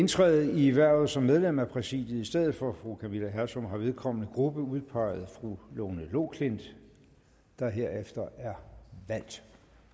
indtræde i hvervet som medlem af præsidiet i stedet for fru camilla hersom har vedkommende gruppe udpeget fru lone loklindt der herefter er valgt